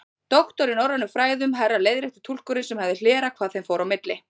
Doktor í norrænum fræðum, herra leiðrétti túlkurinn sem hafði hlerað hvað þeim fór á milli.